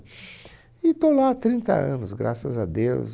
E estou lá há trinta anos, graças a Deus.